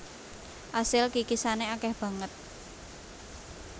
Asil kikisane akeh banget